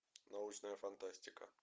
научная фантастика